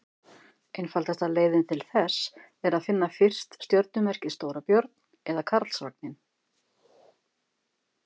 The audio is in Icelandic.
einfaldasta leiðin til þess er að finna fyrst stjörnumerkið stórabjörn eða karlsvagninn